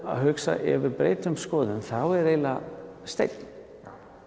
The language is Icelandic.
að hugsa ef ég breyti um skoðun þá er eiginlega steinn